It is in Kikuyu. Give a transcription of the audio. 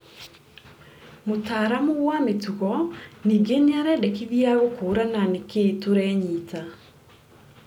Mũtaramu wa mĩtugo ningĩ nĩarendekithia gũkũrana nĩkĩĩ tũrenyita